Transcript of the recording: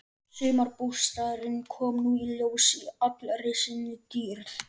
Sumarbústaðurinn kom nú í ljós í allri sinni dýrð.